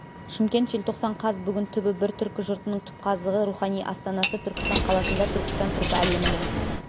шымкент желтоқсан қаз бүгін түбі бір түркі жұртының түпқазығы рухани астанасы түркістан қаласында түркістан түркі әлемінің